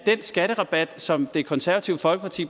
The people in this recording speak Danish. skatterabat som blandt det konservative folkeparti